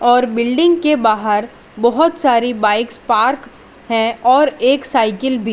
और बिल्डिंग के बाहर बहुत सारी बाइक्स पार्क है और एक साइकिल भी।